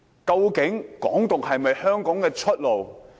究竟"港獨"是否香港的出路？